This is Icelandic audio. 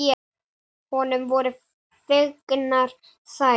Honum voru fengnar þær.